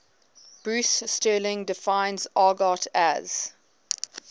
bruce sterling defines argot as